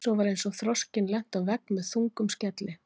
Svo var eins og þroskinn lenti á vegg með þungum skelli.